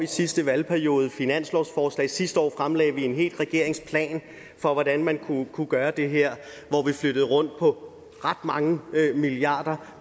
sidste valgperiode fremlagt finanslovsforslag sidste år fremlagde vi en hel regeringsplan for hvordan man kunne gøre det her hvor vi flyttede rundt på ret mange milliarder